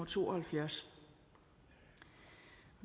to og halvfjerds